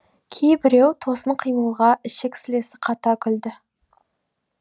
кейбіреу тосын қимылға ішек сілесі қата күлді